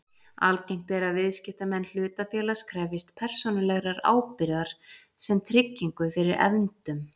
Algengt er að viðskiptamenn hlutafélags krefjist persónulegrar ábyrgðar sem tryggingu fyrir efndum.